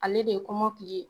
Ale de ye kɔmɔkili ye.